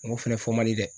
N go fɛnɛ fɔ mali dɛ